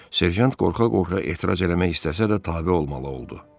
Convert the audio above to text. Serjant qorxa-qorxa etiraz eləmək istəsə də tabe olmalı oldu.